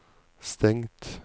stengt